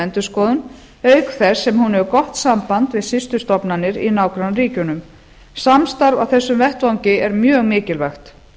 endurskoðun auk þess sem hún hefur gott samband við systurstofnanir í nágrannaríkjunum samstarf á þessum vettvangi er mjög mikilvægt